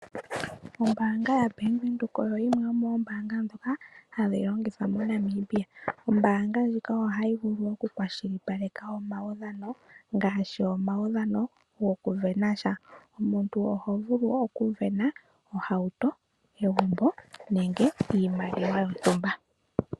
Ombaanga ya Bank Widhoek oyo yimwe yo moombaanga ndhoka hadhi longithwa moNamibia. Ombaanga ndjika oha yi vulu oku kwashilipaleka woo omaudhano, ngaashi omudhano go kusindana sha. Omuntu oho vulu oku sindana ohauto, egumbo nenge iimaliwa yontumba.